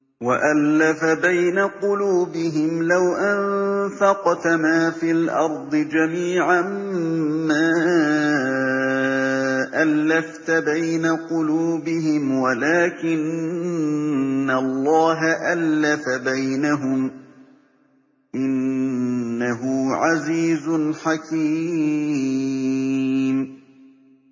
وَأَلَّفَ بَيْنَ قُلُوبِهِمْ ۚ لَوْ أَنفَقْتَ مَا فِي الْأَرْضِ جَمِيعًا مَّا أَلَّفْتَ بَيْنَ قُلُوبِهِمْ وَلَٰكِنَّ اللَّهَ أَلَّفَ بَيْنَهُمْ ۚ إِنَّهُ عَزِيزٌ حَكِيمٌ